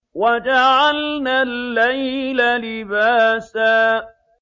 وَجَعَلْنَا اللَّيْلَ لِبَاسًا